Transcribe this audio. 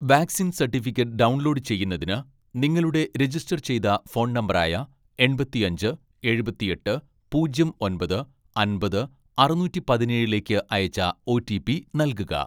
vaccine certificate download ചെയ്യുന്നതിന്, നിങ്ങളുടെ register ചെയ്ത ഫോൺ നമ്പറായ എൺപത്തിയഞ്ച് എഴുപത്തിയെട്ട് പൂജ്യം ഒമ്പത് അമ്പത് അറുനൂറ്റി പതിനേഴിലേക്ക് അയച്ച ഓ.ടി.പി നൽകുക